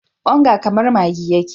Onga kamar maggi yake.